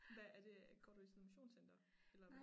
Hvad er det går du i sådan et motionscenter eller hvad?